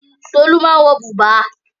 Tolú máa ń wọ bùbá.